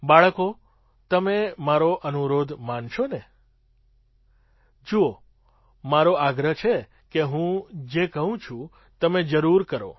બાળકો તમે મારો અનુરોધ માનશો ને જુઓ મારો આગ્રહ છે કે હું જે કહું છું તમે જરૂર કરો